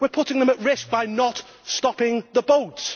We are putting them at risk by not stopping the boats.